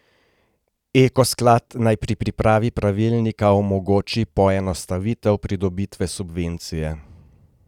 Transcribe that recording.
Eko sklad naj pri pripravi pravilnika omogoči poenostavitev pridobitve subvencije.